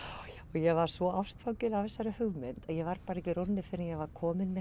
ég var svo ástfangin af þessari hugmynd að ég varð ekki rórri fyrr en ég var komin með